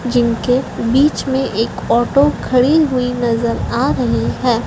जिनके बीच में एक ऑटो खड़ी हुई नज़र आ रही है।